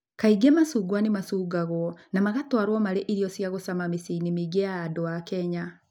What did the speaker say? Kaingĩ macungwa nĩ macukagwo na magatwaragwo marĩ irio cia gũcama mĩciĩ-inĩ mĩingĩ ya andũ a Kenya.